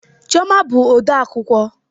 Chioma bụ odeakwụkwọ